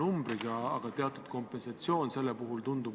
Aitäh, austatud ettekandja!